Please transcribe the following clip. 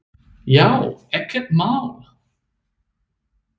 Já, ekkert mál!